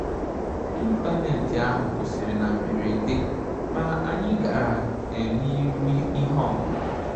Ị́ntánétì áhụ́ kwụ́sị́rị̀ nà mbèrèdè, mà ànyị́ gàrà n’írù nà ìhè ọ́mụ́mụ́.